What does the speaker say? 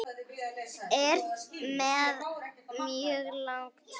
Er með mjög langa tungu.